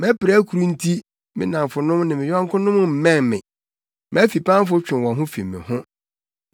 Mʼapirakuru nti me nnamfonom ne me yɔnkonom mmɛn me; mʼafipamfo twe wɔn ho fi me ho.